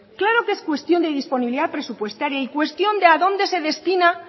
claro que es cuestión de disponibilidad presupuestaria y cuestión de a dónde se destinan